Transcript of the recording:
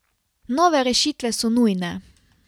Nove rešitve so nujne.